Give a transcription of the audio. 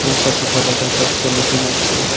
এখানে একটা পেপার রাখা আসে একটা মেশিন আসে।